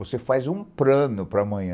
Você faz um plano para amanhã.